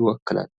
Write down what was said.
ይወክላል?